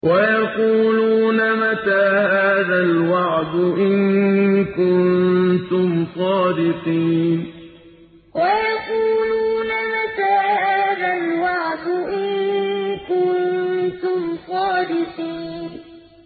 وَيَقُولُونَ مَتَىٰ هَٰذَا الْوَعْدُ إِن كُنتُمْ صَادِقِينَ وَيَقُولُونَ مَتَىٰ هَٰذَا الْوَعْدُ إِن كُنتُمْ صَادِقِينَ